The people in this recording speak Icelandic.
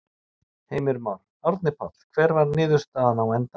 Heimir Már: Árni Páll, hver var niðurstaðan á endanum?